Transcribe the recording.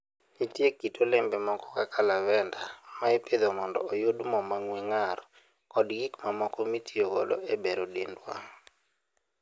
Nitie kit olembe moko kaka lavender, ma ipidho mondo oyud mo mang'we ng'ar koda gik mamoko mitiyogo e bero dendwa.